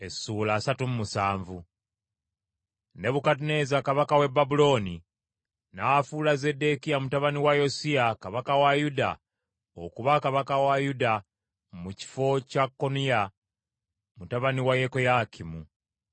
Nebukadduneeza kabaka w’e Babulooni n’afuula Zeddekiya mutabani wa Yosiya kabaka wa Yuda okuba kabaka wa Yuda mu kifo kya Koniya mutabani wa Yekoyakimu.